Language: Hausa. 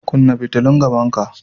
Kunna fitulun gaban ka!